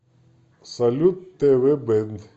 салют тэ вэ бэнд